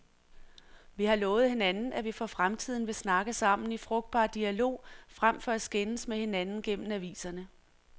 Vi har lovet hinanden, at vi for fremtiden vil snakke sammen i frugtbar dialog frem for at skændes med hinanden gennem aviserne.